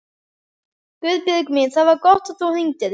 Guðbjörg mín, það var gott að þú hringdir.